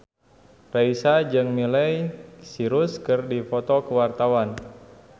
Raisa jeung Miley Cyrus keur dipoto ku wartawan